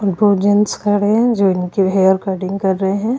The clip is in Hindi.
दो जेंट्स खड़े हैं जो इनकी हेयर कट्टिंग कर रहे हैं।